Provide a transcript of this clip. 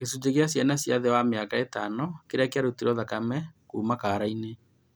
Gĩcunjĩ gĩa ciana cia thĩ wa mĩaka ĩtano kĩrĩa kĩarutirwo thakame kuuma kaara inĩ